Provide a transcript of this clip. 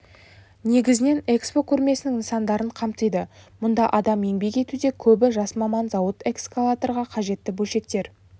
негізінен экспо көрмесінің нысандарын қамтиды мұнда адам еңбек етуде көбі жас маман зауыт эскалаторға қажетті бөлшектер